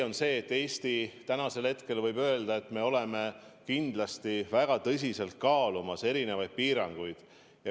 On tõsi, et Eesti võib tänasel hetkel öelda, et me kindlasti kaalume väga tõsiselt erinevaid piiranguid.